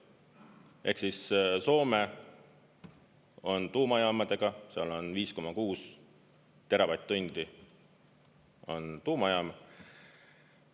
Ehk Soome on tuumajaamadega, seal on 5,6 teravatt-tundi tuumajaam.